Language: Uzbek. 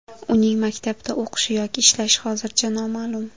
Uning maktabda o‘qishi yoki ishlashi hozircha noma’lum.